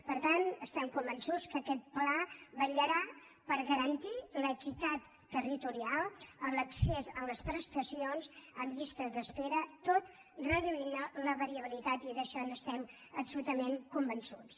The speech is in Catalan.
per tant estem convençuts que aquest pla vetllarà per garantir l’equitat territorial l’accés a les prestacions amb llistes d’espera tot reduint ne la variabilitat i d’això n’estem absolutament convençuts